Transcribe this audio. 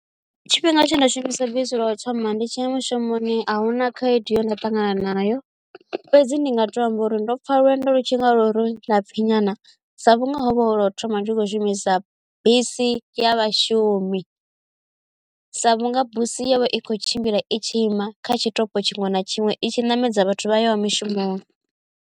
Tshifhinga tshe nda shumisa bisi lwa u thoma ndi tshiya mushumoni a huna khaedu ye nda ṱangana nayo fhedzi ndi nga to amba uri ndo pfa lwendo lu tshi nga lwo ri lapfi nyana sa vhunga hovha hu lwo thoma ndi khou shumisa bisi ya vhashumi sa vhunga busi iyo i tshivha i kho tshimbila i tshi ima kha tshiṱoko tshiṅwe na tshiṅwe i tshi ṋamedza vhathu vha yaho mushumoni.